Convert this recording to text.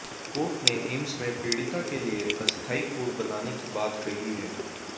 court ने एम्स में पीड़िता के लिए अस्थाई कोर्ट बनाने की बात कही है